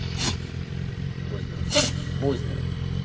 будь здоров будь здоров